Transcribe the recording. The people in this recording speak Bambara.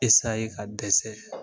ka dɛsɛ